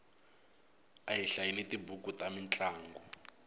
a hi hlayeni tibuku ta mintlangu